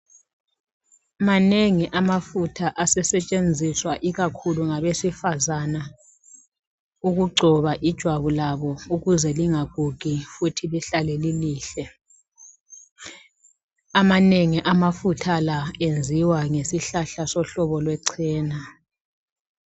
Manengi amafutha asesetshenziswa ikakhulu ngabesifazana, ukugcoba ijwabu labo ukuze lingagugi futhi lihlale lilihle. Amanengi amafutha la enziwa ngesihlahla sohlobo lwechena.